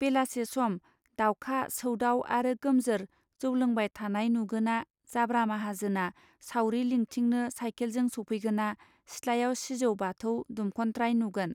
बेलासि सम दावखा सौदाव आरो गोमजोर जौ लोंबाय थानाय नुगोना जाब्रा माहाजोना सावरि लिंथिनो सायखेलजों सौफैगोना सिथ्लायाव सिजौ बाथौ दुमखत्राय नुगोन.